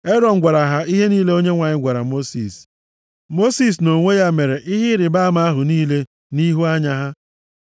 Erọn gwara ha ihe niile Onyenwe anyị gwara Mosis. Mosis, nʼonwe ya mere ihe ịrịbama ahụ niile nʼihu anya ha.